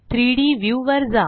3डी व्ह्यू वर जा